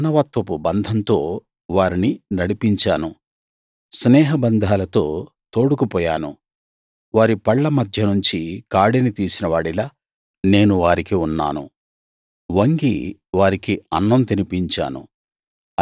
మానవత్వపు బంధంతో వారిని నడిపించాను స్నేహబంధాలతో తోడుకుపోయాను వారి పళ్ళ మధ్య నుంచి కాడిని తీసిన వాడిలా నేను వారికి ఉన్నాను వంగి వారికి అన్నం తినిపించాను